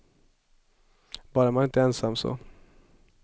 Bara man inte är ensam så.